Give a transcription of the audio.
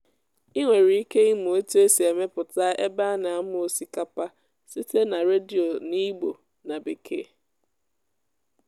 ị nwere ike ịmụ otu esi emepụta ebe a na-amụ osikapa site na redio n'igbo na bekee.